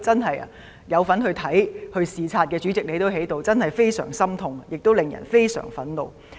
當時曾參與視察的人——主席你當時也在——真的感到非常心痛，亦令人感到非常憤怒。